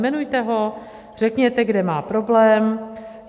Jmenujte ho, řekněte, kde má problém.